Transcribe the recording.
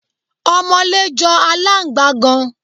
Ọmọlé jọ aláǹgbá gan.